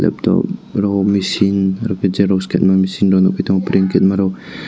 labtop rok machine oro ke chair rok kaima machine kerma rok.